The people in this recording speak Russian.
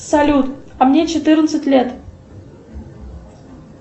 салют а мне четырнадцать лет